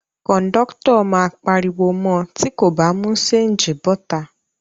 Kòńdọ́tọ̀ máa pariwo mọ tí kò bá mú ṣéńjì bọ́ta